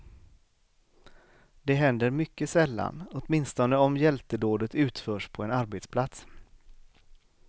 Det händer mycket sällan, åtminstone om hjältedådet utförs på en arbetsplats.